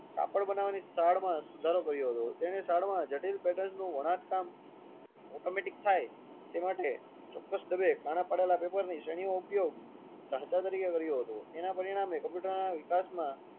કાપડ બનાવની સુધારો કર્યું હતું તેને સાદ માં જટિલ પેટર્ન નું ઓટ કામ automatic થાય તે માટે ચોક્કસ કાણાં પાડેલાં પેપર ની શ્રેણિયોં ઉપયોગ ઘચ્ચ તરીકે કર્યો હતો તેના પરિણામે કોમ્પ્યુટરના વિકાસ માં